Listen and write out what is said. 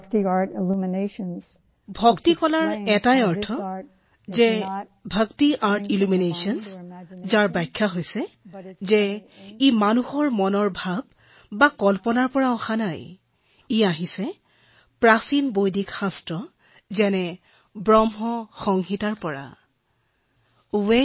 যদুৰাণী জীঃ ভক্তি কলাৰ বিষয়ে প্ৰকাশিত এটা প্ৰৱন্ধত এই বুলি দৰ্শোৱা হৈছে যে এই কলা আমাৰ মন অথবা কল্পনাপ্ৰসূত নহয় ই প্ৰাচীন বৈদিক শাস্ত্ৰ যেনে ভ্ৰম সংহিতাৰ পৰা আহিছে